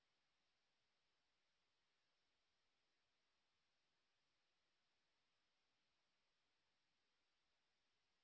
যদি ভাল ব্যান্ডউইডথ না থাকে তাহলে আপনি ভিডিও টি ডাউনলোড করে দেখতে পারেন